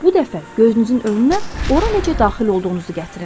Bu dəfə gözünüzün önünə ora necə daxil olduğunuzu gətirin.